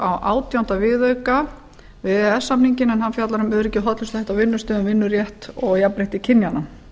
á átjánda viðauka við e e s samninginn en hann fjallar um öryggi og hollustuhætti á vinnustöðum vinnurétt og jafnrétti kynjanna